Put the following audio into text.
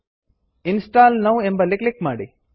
install now install now ಎಂಬಲ್ಲಿ click ಮಾಡಿ